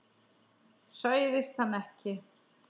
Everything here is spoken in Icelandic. Hræðist hann ekki.